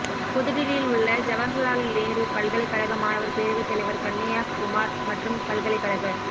புதுடில்லியில் உள்ள ஜவஹர்லால் நேரு பல்கலைக் கழக மாணவர் பேரவைத்தலைவர் கண்ணையாகுமார் மற்றும் பல்கலைக்கழக